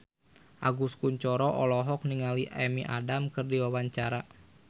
Agus Kuncoro olohok ningali Amy Adams keur diwawancara